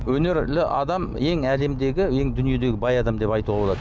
өнерлі адам ең әлемдегі ең дүниедегі бай адам деп айтуға болады